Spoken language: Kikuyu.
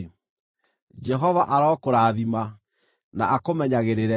“‘ “Jehova arokũrathima, na akũmenyagĩrĩre;